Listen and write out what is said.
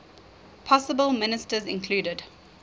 possible ministers included